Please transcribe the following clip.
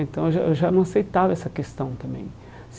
Então, eu já eu já não aceitava essa questão também.